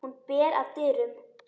Hún ber að dyrum.